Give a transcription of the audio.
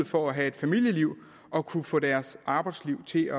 for at have et familieliv og kunne få deres arbejdsliv til at